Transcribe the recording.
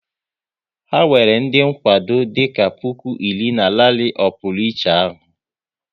Ha nwere ndị nkwado dịka puku iri na rali ọ pụrụ iche ahụ